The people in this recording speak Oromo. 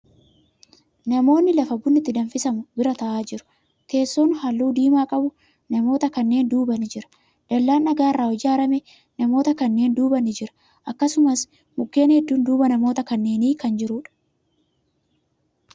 Namootni lafa bunni itti danfisamu bira taa'aa jiru. Teesson halluu diimaa qabu namoota kanneen duuba ni jira. Dallaan dhagaa irraa ijaarame namoota kanneen duuba ni jira. Akkasumas, mukkeen hedduun duuba namoota kanneenii kan jiruudha.